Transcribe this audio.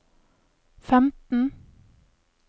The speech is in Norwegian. femten